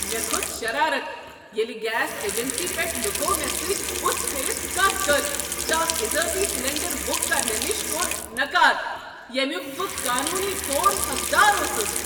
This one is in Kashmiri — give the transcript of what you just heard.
مےٚ کھوٚت شرارت ییٚلہ گیس اجنسی پیٹھ لوکو مےٚ سۭتۍ بتھ پھرتھ کتھ کٔر تہٕ اکھ اضٲفی سلنڈر بک کرنہٕ نش کوٚر نکار ییٚمیک بہٕ قانونی طور حقدار اوسس۔